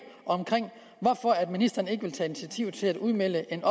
om hvorfor ministeren ikke vil tage initiativ til at udmelde en